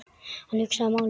Hann hugsaði málið.